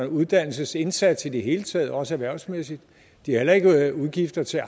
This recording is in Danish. uddannelsesindsats i det hele taget også erhvervsmæssigt de har heller ikke udgifter til